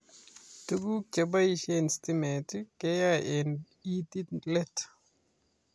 Toguk chebaishe stimat keaye eng itiit let